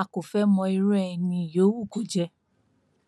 a kò fẹẹ mọ irú ẹni yòówù kó jẹ